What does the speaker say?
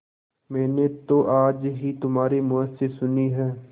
मैंने तो आज ही तुम्हारे मुँह से सुनी है